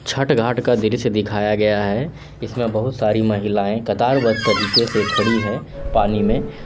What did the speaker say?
छठ घाट का दृश्य दिखाया गया है जिसमें बहुत सारी महिलाएं कतारबद्ध तरीके से खड़ी है पानी में।